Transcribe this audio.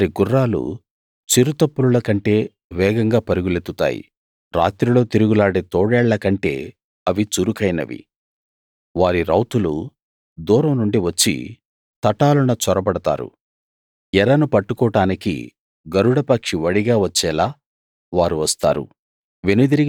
వారి గుర్రాలు చిరుతపులుల కంటే వేగంగా పరుగులెత్తుతాయి రాత్రిలో తిరుగులాడే తోడేళ్లకంటే అవి చురుకైనవి వారి రౌతులు దూరం నుండి వచ్చి తటాలున చొరబడతారు ఎరను పట్టుకోడానికి గరుడ పక్షి వడిగా వచ్చేలా వారు వస్తారు